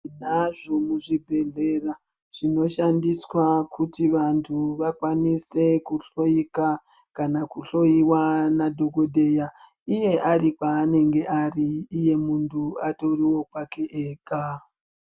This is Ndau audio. Tinazvo muzvibhehlera zvinoshandiswa kuti vantu vakwanise kuhloika, kana kuhlowiwa nadhokodheya, iye ari kwanenge ari, iye muntu atoriwo kwake ega.